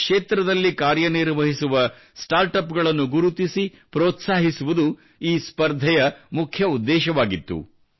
ಈ ಕ್ಷೇತ್ರದಲ್ಲಿ ಕಾರ್ಯನಿರ್ವಹಿಸುವ ಸ್ಟಾರ್ಟ್ ಅಪ್ ಗಳನ್ನು ಗುರುತಿಸಿ ಪ್ರೋತ್ಸಾಹಿಸುವುದು ಈ ಸ್ಪರ್ಧೆಯ ಮುಖ್ಯ ಉದ್ದೇಶವಾಗಿತ್ತು